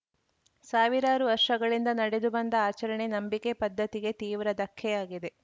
ಸಾವಿರಾರು ವರ್ಷಗಳಿಂದ ನಡೆದು ಬಂದ ಆಚರಣೆ ನಂಬಿಕೆ ಪದ್ಧತಿಗೆ ತೀವ್ರ ಧಕ್ಕೆಯಾಗಿದೆ